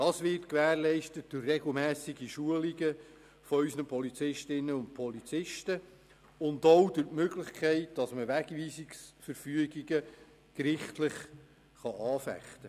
Dies wird gewährleistet durch regelmässige Schulungen unserer Polizistinnen und Polizisten und auch durch die Möglichkeit, Wegweisungsverfügungen gerichtlich anzufechten.